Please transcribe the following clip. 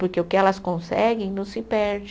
Porque o que elas conseguem não se perde.